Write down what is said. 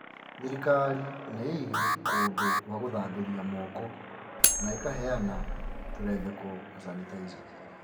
Thirikari nĩ īīhigie kũndũ gwa gũthambĩria moko na ĩkaheana tũrembeko na canitaica